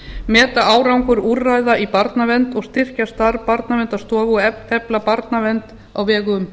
meta árangur úrræða í barnavernd styrkja starf barnaverndarstofu og efla barnavernd á vegum